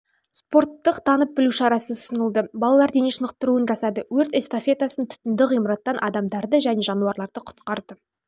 спорттық танып білу шарасы ұсынылды балалар дене шынықтыруын жасады өрт эстафетасын түтінді ғимараттан адамдарды және